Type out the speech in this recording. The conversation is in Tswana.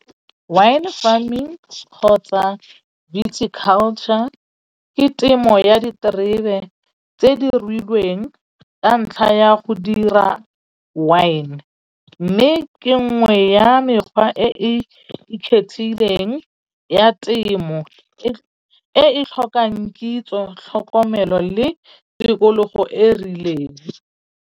Wine farming kgotsa culture ke temo ya diterebe tse di ruilweng ka ntlha ya go dira wine. Mme ke nngwe ya mekgwa e e ikgethileng ya temo e e tlhokang kitso, tlhokomelo le tikologo e rileng.